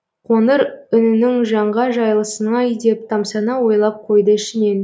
қоңыр үнінің жанға жайлысын ай деп тамсана ойлап қойды ішінен